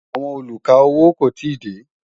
àwọn olú ká owó kò tí dé